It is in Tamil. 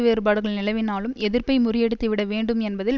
வேறுபாடுகள் நிலவினாலும் எதிர்ப்பை முறியடித்திவிட வேண்டும் என்பதில்